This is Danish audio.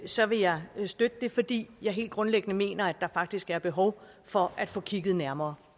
så vil jeg støtte det fordi jeg helt grundlæggende mener at der faktisk er behov for at få kigget nærmere